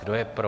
Kdo je pro?